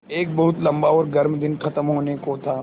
एक बहुत लम्बा और गर्म दिन ख़त्म होने को था